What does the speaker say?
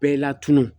Bɛɛ la tunun